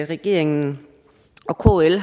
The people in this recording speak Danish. regeringen og kl